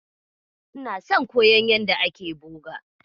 Ina son koyon yanda ake boga.